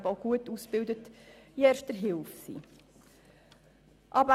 Es sind Personen anwesend, die in Erster Hilfe gut ausgebildet sind.